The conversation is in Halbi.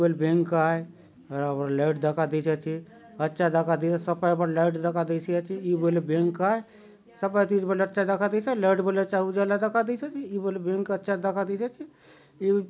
ये बले बैंक आय लाइट दखा देयसी आचे अच्छा दखा देऊआय सपाय बाटे लाइट दखा देयसी आचे इ बले बैंक आय[ सपाय चीज बले अच्छा दखा देयसी आचे अउर लाइट बले अच्छा उजाला दखा देयसी आचि इ बैंक बले अच्छा दखा देयसी आचि इ --